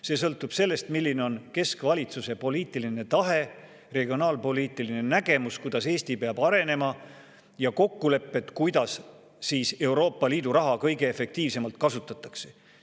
See sõltub sellest, milline on keskvalitsuse poliitiline tahe, regionaalpoliitiline nägemus, kuidas Eesti peab arenema, ja kokkulepped, kuidas Euroopa Liidu raha kõige efektiivsemalt kasutatakse.